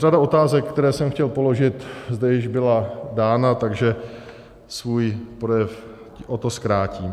Řada otázek, které jsem chtěl položit, zde již byla dána, takže svůj projev o to zkrátím.